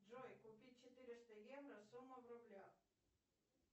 джой купить четыреста евро сумма в рублях